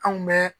Anw bɛ